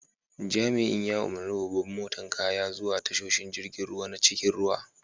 Jami'in ya umarni babban motan kayan zuwa tashoshin jirigin ruwa na cikin ruwa.